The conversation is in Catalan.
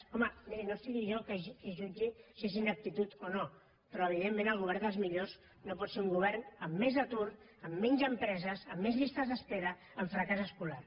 home no seré jo qui jutgi si és ineptitud o no però evidentment el govern dels millors no pot ser un govern amb més atur amb menys empreses amb més llistes d’espera amb fracàs escolar